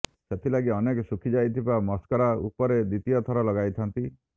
ସେଥିଲାଗି ଅନେକ ଶୁଖିଯାଇଥିବା ମସ୍କାରା ଉପରେ ଦ୍ବିତୀୟ ଥର ଲଗାଇଥାନ୍ତି